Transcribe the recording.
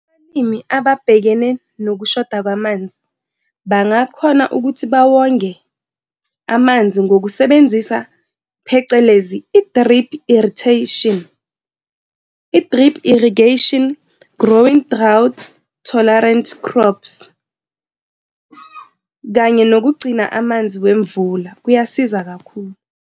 Abalimi ababhekene nokushoda kwamanzi bangakhona ukuthi bawonge amanzi ngokusebenzisa, phecelezi, i-drip irritation, i-drip irrigation, growing drought-tolerant crops, kanye nokugcina amanzi wemvula kuyasiza kakhulu.